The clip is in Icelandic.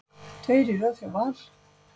Tveir í röð hjá Val